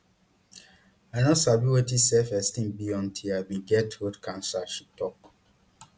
i no sabi wetin selfesteem be until i bin get throat cancer she tok